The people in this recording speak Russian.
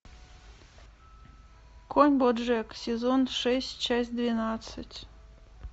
конь боджек сезон шесть часть двенадцать